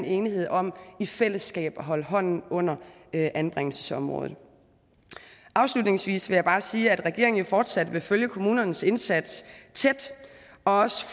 enighed om i fællesskab at holde hånden under anbringelsesområdet afslutningsvis vil jeg bare sige at regeringen jo fortsat vil følge kommunernes indsats tæt og også